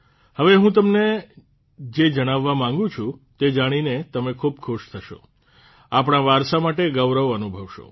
હવે હું તમને જે જણાવવા માંગું છું તે જાણીને તમે ખૂબ ખુશ થશો આપણા વારસા માટે ગૌરવ અનુભવશો